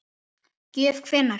Gjöf hvenær?